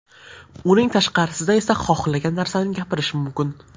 Uning tashqarisida esa xohlagan narsani gapirish mumkin.